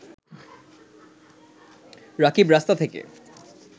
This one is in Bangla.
রাকিব রাস্তা থেকে